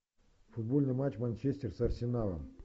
футбольный матч манчестер с арсеналом